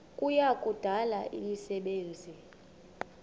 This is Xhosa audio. kuya kudala imisebenzi